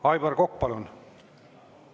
Aivar Kokk, palun!